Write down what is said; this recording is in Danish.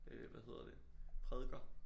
Øh hvad heddet prædiker